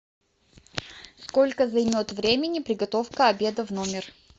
сколько займет времени приготовка обеда в номер